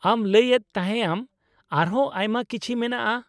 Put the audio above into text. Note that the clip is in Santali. -ᱟᱢ ᱞᱟᱹᱭ ᱮᱫ ᱛᱟᱦᱮᱸ ᱮᱢ ᱟᱨᱦᱚᱸ ᱟᱭᱢᱟ ᱠᱤᱪᱷᱤ ᱢᱮᱱᱟᱜᱼᱟ ?